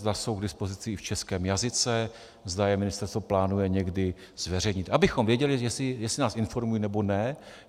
Zda jsou k dispozici i v českém jazyce, zda je ministerstvo plánuje někdy zveřejnit, abychom věděli, jestli nás informují, nebo ne.